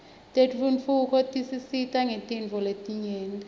tentfutfuko tisisita ngetinifo letnyenti